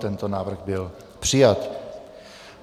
Tento návrh byl přijat.